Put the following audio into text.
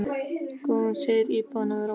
Guðrún segir íbúana vera ósátta.